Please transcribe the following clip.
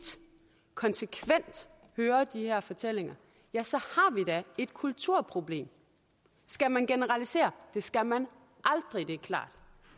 konsekvent hører de her fortællinger ja så har vi da et kulturproblem skal man generalisere det skal man aldrig det er klart